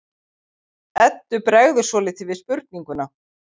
Eddu bregður svolítið við spurninguna.